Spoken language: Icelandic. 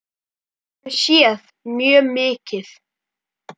Við höfum séð mjög mikið.